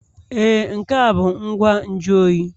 Ee, nke a bụ ngwa nju oyi